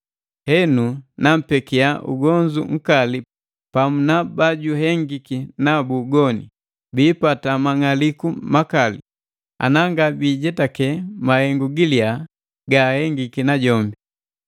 Henu nampekia ugonzu nkali pamu na bajuhengiki nabu ugoni, biipata mang'aliku makali, ana nga biijetake mahengu gilya ga ahengiki na jombi.